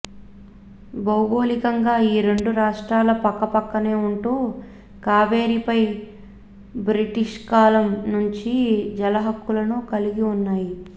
భౌగోళికంగా ఈ రెండు రాష్ట్రాలు పక్కపక్కనే ఉంటూ కావేరిపై బ్రిటిష్కాలం నుంచి జలహక్కులను కలిగి ఉన్నాయి